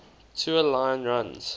tua line runs